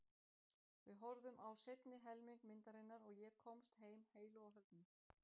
Við horfðum á seinni helming myndarinnar og ég komst heim heilu og höldnu.